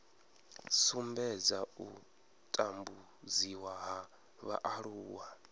sumbedza u tambudziwa ha vhaaluwa